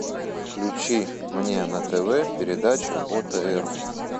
включи мне на тв передачу отр